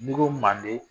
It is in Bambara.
N'i ko manden